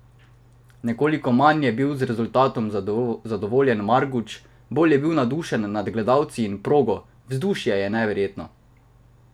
Nekoliko manj je bil z rezultatom zadovoljen Marguč, bolj je bil navdušen nad gledalci in progo: "Vzdušje je neverjetno.